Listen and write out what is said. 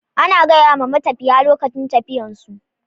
Ana gayama matafiya lokacin tafiyar su